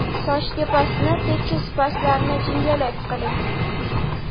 Soch tepasini tekis pastlarini jingalak qiling.